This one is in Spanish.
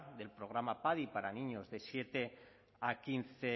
del programa padi para niños de siete